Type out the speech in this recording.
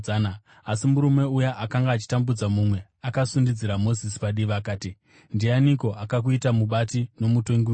“Asi murume uya akanga achitambudza mumwe akasundidzira Mozisi padivi akati, ‘Ndianiko akakuita mubati nomutongi wedu?